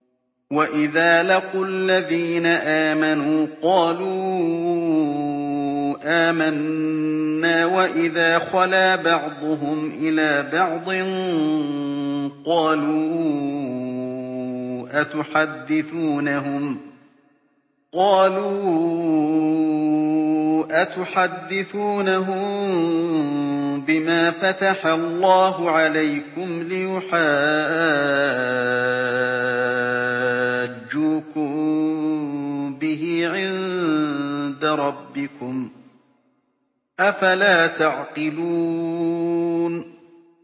وَإِذَا لَقُوا الَّذِينَ آمَنُوا قَالُوا آمَنَّا وَإِذَا خَلَا بَعْضُهُمْ إِلَىٰ بَعْضٍ قَالُوا أَتُحَدِّثُونَهُم بِمَا فَتَحَ اللَّهُ عَلَيْكُمْ لِيُحَاجُّوكُم بِهِ عِندَ رَبِّكُمْ ۚ أَفَلَا تَعْقِلُونَ